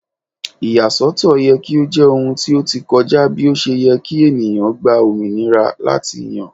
Iyasọtọ yẹ ki o jẹ ohun ti o ti kọja bi o ṣe yẹ ki eniyan gba ominira lati yan